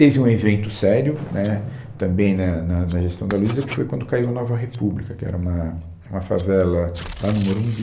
Teve um evento sério, né, também na na na gestão da Luiza, que foi quando caiu a Nova República, que era uma uma favela lá no Morumbi.